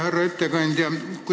Härra ettekandja!